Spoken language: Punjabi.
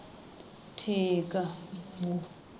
ਠੀਕ ਆ ਹਮ